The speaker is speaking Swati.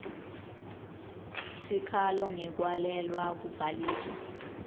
sikhalo ngekwalelwa kubhaliswa